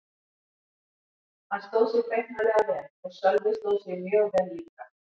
Hann stóð sig feiknarlega vel og Sölvi stóð sig mjög vel líka.